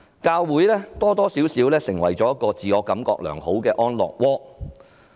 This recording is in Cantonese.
教會多少成為自我感覺良好的安樂窩。